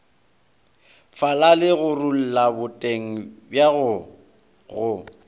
falale gorulla boteng bjago go